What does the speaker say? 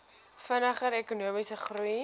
vinniger ekonomiese groei